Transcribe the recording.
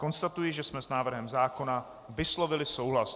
Konstatuji, že jsme s návrhem zákona vyslovili souhlas.